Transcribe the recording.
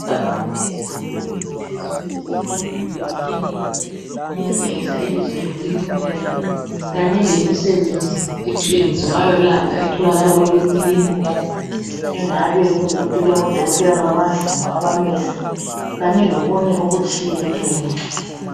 Ibhakane elikhulu eliphezu kwe kli komduli weklinika elitshengisa ibizo leklinika le kanye lemisebenzi ethw eyenziwayo etholakala eklinika engabe kuyikuthi kulamadokotela bamazinyo abamehlo kanye lokunye okutshiyeneyo.